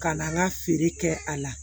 Ka na n ka feere kɛ a la